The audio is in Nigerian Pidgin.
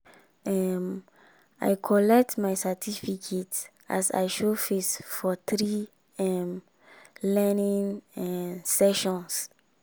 um i collect my certificate as i show face for three um learning um sessions.